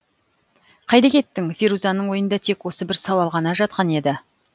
қайда кеттің ферузаның ойында тек осы бір сауал ғана жатқан еді